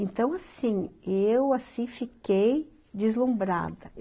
Então, assim, eu assim fiquei deslumbrada.